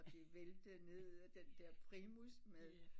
Og det væltede ned af den der primus